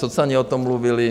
Socani o tom mluvili.